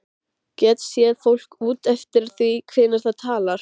Get séð fólk út eftir því hvernig það talar.